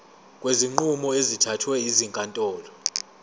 kwezinqumo ezithathwe ezinkantolo